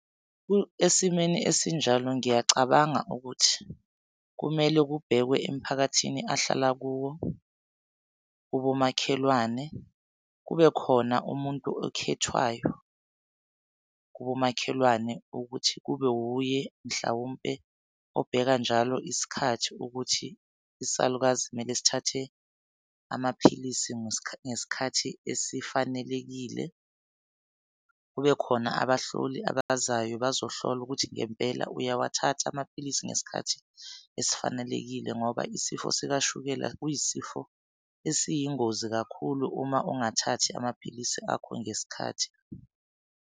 Esimeni esinjalo ngiyacabanga ukuthi kumele kubhekwe emphakathini ahlala kuwo kubomakhelwane kube khona umuntu okhethwayo kubomakhelwane ukuthi kube wuye mhlawumpe, obheka njalo isikhathi ukuthi isalukazi kumele sithathe amaphilisi ngesikhathi esifanelekile. Kube khona abahloli abazayo bazohlola ukuthi ngempela uyawathatha amaphilisi ngesikhathi esifanelekile ngoba isifo sikashukela kuyisifo esiyingozi kakhulu uma ungathathi amaphilisi akho ngesikhathi.